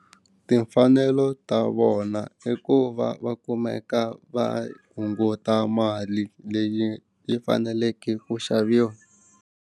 Timfanelo ta vona i ku va va kumeka va hunguta mali leyi yi faneleke ku xaviwa.